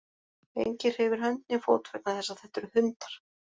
Enginn hreyfir hönd né fót vegna þess að þetta eru hundar.